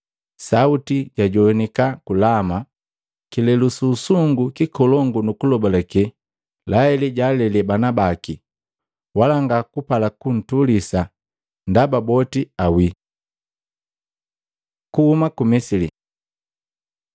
“Sauti jajoaniki ku Lama, kilelu su usungu nkolongu nu kulobalake. Laheli jaalele bana baki, wala ngakupala kuntulisa, ndaba boti awii.” Kuhuma ku Misili